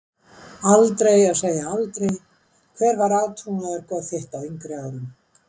Aldrei að segja aldrei Hver var átrúnaðargoð þitt á yngri árum?